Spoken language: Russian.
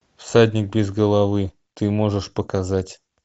всадник без головы ты можешь показать